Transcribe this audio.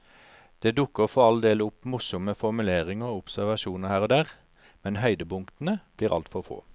Det dukker for all del opp morsomme formuleringer og observasjoner her og der, men høydepunktene blir altfor få.